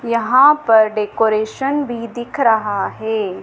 यहां पर डेकोरेशन भी दिख रहा है।